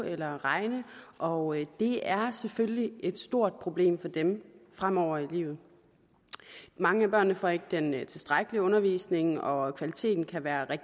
eller regne og det er selvfølgelig et stort problem for dem fremover i livet mange af børnene får ikke den tilstrækkelige undervisning og kvaliteten kan være